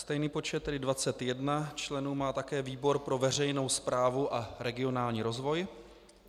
Stejný počet, tedy 21 členů, má také výbor pro veřejnou správu a regionální rozvoj.